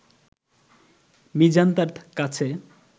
মিজান তার কাছে